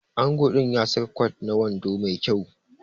Ango din ya saka kwat da wando Mai kyau